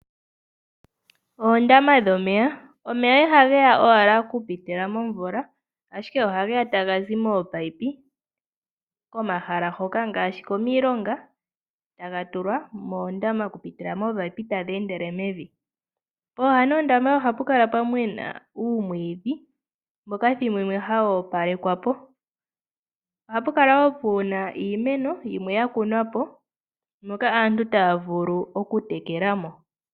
Omeya iha geya owala okupitila momvula ashike ohage ya taga zi mominino komahala ngaashi komilonga, taga tulwa moondama okupitila mominino tadhi endele mevi. Pooha dhoondama oha pu kala pwa mena uumwiidhi mboka ethimbo limwe hawu opalekwa po. Oha pu kala wo puna iimeno yimwe ya kunwa po, moka aantu taya vulu okutekela mo.